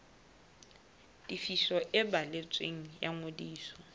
tefiso e balletsweng ya ngodiso